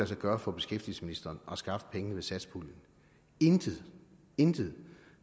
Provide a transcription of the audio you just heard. sig gøre for beskæftigelsesministeren at skaffe pengene via satspuljen intet intet